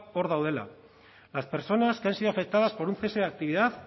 hor daudela las personas que han sido afectadas por un cese de actividad